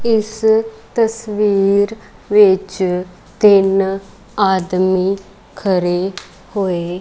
ਇਸ ਤਸਵੀਰ ਵਿੱਚ ਤਿੰਨ ਆਦਮੀ ਖੜੇ ਹੋਏ--